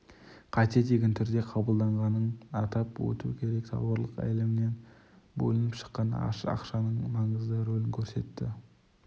қате деген түрде қабылданғанын атап өту керек тауарлық әлемінен бөлініп шыққан ақшаның маңызды рөлін көрсетті